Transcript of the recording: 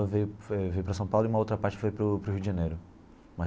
Ve ve veio para São Paulo e uma outra parte foi para o para o Rio de Janeiro.